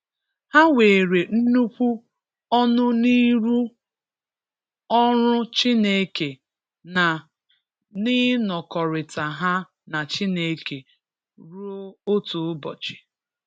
Ha nwere nnukwu ọnụ n’ịrụ ọrụ Chineke, na n’iṅọkọrita ha na Chineke, ruo otu ụbọchị.